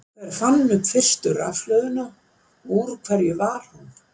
Hver fann upp fyrstu rafhlöðuna og úr hverju var hún?